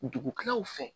Dugukɛlaw fɛ